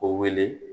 O wele